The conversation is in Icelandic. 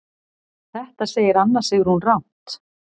Þetta segir Anna Sigrún rangt.